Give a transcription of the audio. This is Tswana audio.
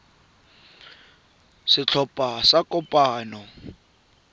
kwa kopanong ya setlhopha sa